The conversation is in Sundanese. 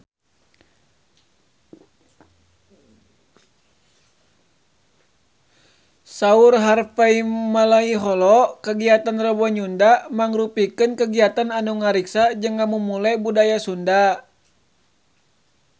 Saur Harvey Malaiholo kagiatan Rebo Nyunda mangrupikeun kagiatan anu ngariksa jeung ngamumule budaya Sunda